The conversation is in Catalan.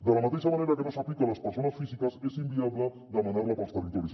de la mateixa manera que no s’aplica a les persones físiques és inviable demanar·la per als territoris